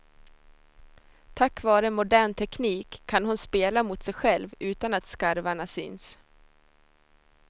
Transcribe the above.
Tack vare modern teknik kan hon spela mot sig själv utan att skarvarna syns.